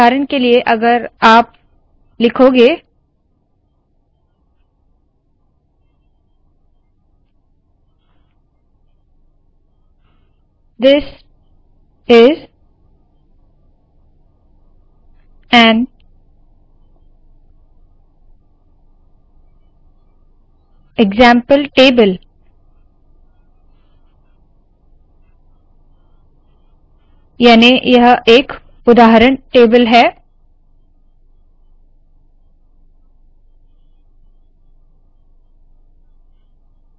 उदाहरण के लिए अगर आप लिखोगे this is an example table याने यह एक उदाहरण टेबल है